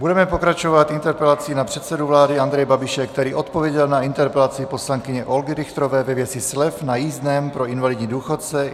Budeme pokračovat interpelací na předsedu vlády Andreje Babiše, který odpověděl na interpelaci poslankyně Olgy Richterové ve věci slev na jízdném pro invalidní důchodce.